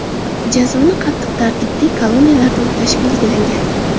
Jazoni qattiq tartibli koloniyalarda o‘tash belgilangan.